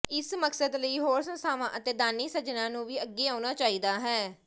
ਇਸ ਮਕਸਦ ਲਈ ਹੋਰ ਸੰਸਥਾਵਾਂ ਅਤੇ ਦਾਨੀ ਸੱਜਣਾਂ ਨੂੰ ਵੀ ਅੱਗੇ ਆਉਣਾ ਚਾਹੀਦਾ ਹੈ